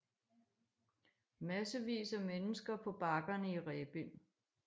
Massevis af mennesker på bakkerne i Rebild